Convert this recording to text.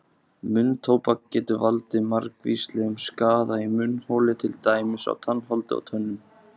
Munntóbak getur valdið margvíslegum skaða í munnholi til dæmis á tannholdi og tönnum.